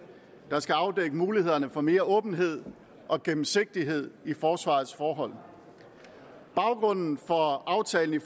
der skal afdække mulighederne for mere åbenhed og gennemsigtighed i forsvarets forhold baggrunden for aftalen i